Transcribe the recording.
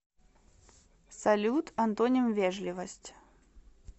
салют антоним вежливость